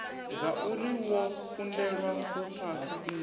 zwauri wo kundelwa u phasa